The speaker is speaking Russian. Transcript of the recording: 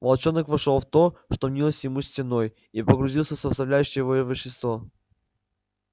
волчонок вошёл в то что мнилось ему стеной и погрузился в составляющее её вещество